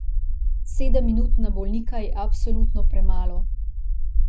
Sedem minut na bolnika je absolutno premalo.